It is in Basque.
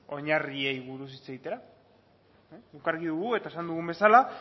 oinarriei buruz hitz egitera guk argi dugu eta esan dugun bezala